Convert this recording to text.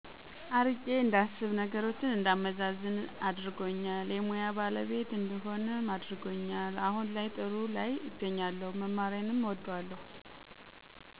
አርቄ እንዳስብ ነገሮችን እንዳመዛዝን አድርጎኛል የሙያ ባለቤት እንድሆንም አድርጎል አሁን ላይ ጥሩ ላይ እገኛለሁ መማሬንም እወደዋለሁ።